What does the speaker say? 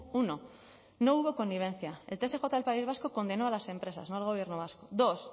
uno no hubo connivencia el tsj del país vasco condenó a las empresas no al gobierno vasco dos